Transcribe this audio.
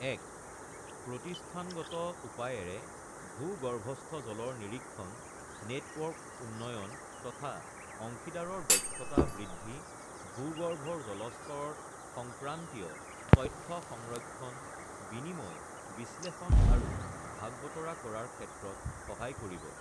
১. প্ৰতিষ্ঠানগত উপায়েৰে ভূগৰ্ভস্থ জলৰ নিৰীক্ষণ নেটৱৰ্ক উন্নয়ন তথা অংশীদাৰৰ দক্ষতা বৃদ্ধি, ভূগৰ্ভৰ জলস্তৰ সংক্ৰান্তীয় তথ্য সংৰক্ষণ, বিনিময়, বিশ্লেষণ আৰু ভাগ বতৰা কৰাৰ ক্ষেত্ৰত সহায় কৰিব